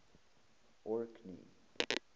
orkney